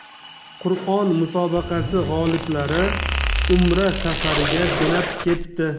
Qur’on musobaqasi g‘oliblari Umra safariga jo‘nab ketdi.